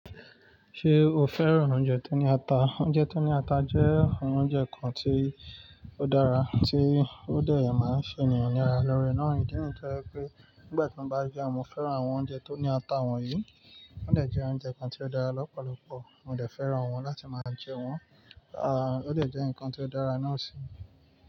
Ṣé o fẹ́ràn oúnjẹ tó ní ata? Oúnjẹ tó ní ata jẹ́ awon oúnjẹ kan tí ó dára, tí ó de máa ń ṣe ènìyàn ní ara lóore. Na ìdíyi tí je pé nígbà tí mo bá jẹun, mo fẹ́ràn àwọn oúnjẹ tó ní ata wọ̀nyí. Ó dàá jẹ oúnjẹ kan tí ó dára lọ́pọ̀lọpọ̀, mo dàá fẹ́ràn wọn láti máa jẹ́ wọn. À, ó de jẹ́ ǹkan tí ó dára náà sì.